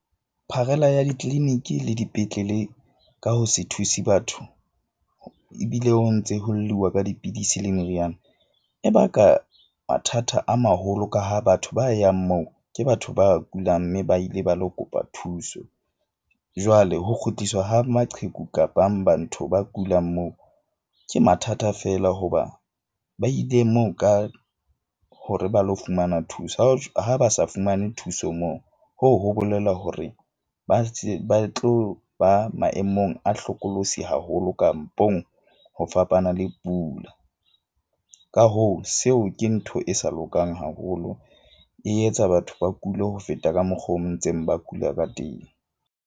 Pharela ya di-clinic-i le dipetlele ka ho se thuse batho ebile o ntse ho lluwa ka dipidisi le meriana, e baka mathata a maholo ka ha batho ba yang moo ke batho ba kulang. Mme ba ile ba lo kopa thuso jwale ho kgutliswa ha maqheku kapang ba ntho ba kulang moo, ke mathata feela hoba ba ile moo ka hore ba lo fumana thuso. Ha ba sa fumane thuso moo, hoo ho bolela hore ba ba tlo ba maemong a hlokolosi haholo, kampong ho fapana le pula. Ka hoo, seo ke ntho e sa lokang haholo. E etsa batho ba kule ho feta ka mokgo ntseng ba kula ka teng.